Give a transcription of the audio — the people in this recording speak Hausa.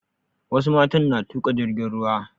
Wasu matan na tuƙa jirgin ruwa